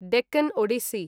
Deccan Odissi